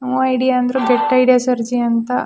no idea ಅಂದ್ರು get idea ಸೆರ್ಜಿ ಅಂತ--